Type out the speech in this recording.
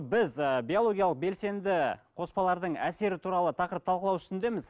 біз ііі биологиялық белсенді қоспалардың әсері туралы тақырып талқылау үстіндеміз